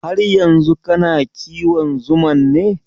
Har yanzu kana kiwon zuman ne?